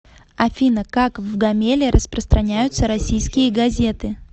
афина как в гомеле распространяются российские газеты